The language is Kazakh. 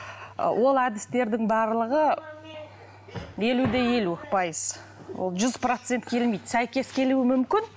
ы ол әдістердің барлығы елу де елу пайыз ол жүз процент келмейді сәйкес келуі мүмкін